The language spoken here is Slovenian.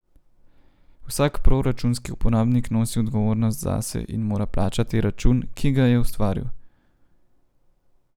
Vsak proračunski uporabnik nosi odgovornost zase in mora plačati račun, ki ga je ustvaril.